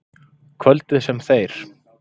Kvöldið, sem þeir